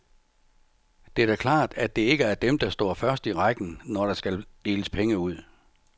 Det er da klart, at det ikke er dem, der står først i rækken, når der skal deles penge ud.